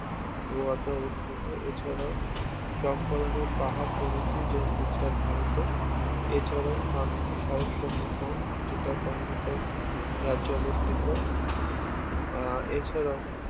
গোয়াতে অবস্থিত এছাড়াও চম্পানের পাহাড় প্রভৃতি যেরকম গুজরাট ভারতে এছাড়াও হাম্পি স্মারকসমূহ যেটা কর্ণাটক রাজ্যে অবস্থিত আহ এছাড়াও